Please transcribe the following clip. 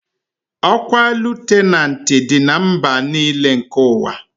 Okwa lutenanti Di na mba n'ile nke uwa